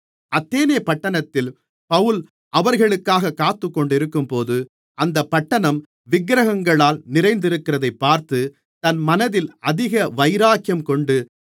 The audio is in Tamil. அத்தேனே பட்டணத்தில் பவுல் அவர்களுக்காகக் காத்துக்கொண்டிருக்கும்போது அந்தப் பட்டணம் விக்கிரகங்களால் நிறைந்திருக்கிறதைப் பார்த்து தன் மனதில் அதிக வைராக்கியம் கொண்டு